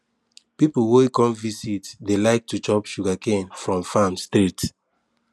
people wey come visit dey like to chop sugarcane from farm straight